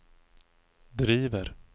driver